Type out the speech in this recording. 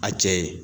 A cɛ ye